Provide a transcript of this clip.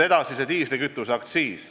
Edasi, diislikütuseaktsiis.